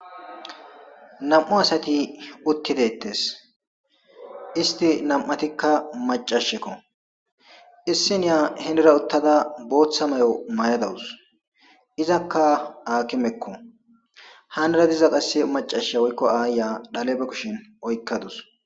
nam7u asati uttidettes isti nam7atikka macashekko issiniya hinera uttada booththa mayo may7adawus izakka aakimekko hanara diza qasse macasha woykko aaya dhale ba kushin oykkadus